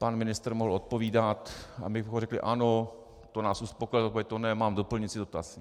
Pan ministr mohl odpovídat a my bychom řekli: ano, to nás uspokojilo, to ne, mám doplňující dotaz.